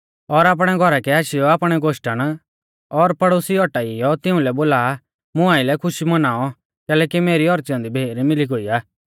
और आपणै घौरा कै आशीयौ आपणै गोश्टण और पड़ोसिऊ औटाइयौ तिउंलै बोला मुं आइलै खुशी मौनाऔ कैलैकि मेरी औच़ी ऐन्दी भेर मिली गोई आ